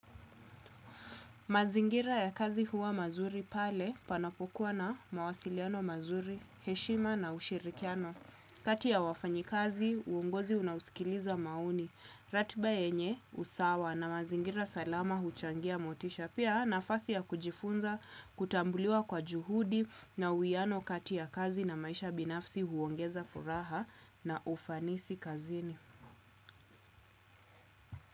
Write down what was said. Mazingira ya kazi huwa mazuri pale panapokuwa na mawasiliano mazuri, heshima na ushirikiano. Kati ya wafanyi kazi, uongozi unausikiliza maoni. Ratiba yenye usawa na mazingira salama huchangia motisha. Pia nafasi ya kujifunza, kutambuliwa kwa juhudi na uiano kati ya kazi na maisha binafsi huongeza furaha na ufanisi kazini.